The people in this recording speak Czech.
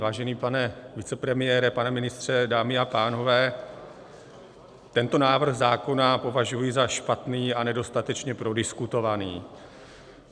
Vážený pane vicepremiére, pane ministře, dámy a pánové, tento návrh zákona považuji za špatný a nedostatečně prodiskutovaný.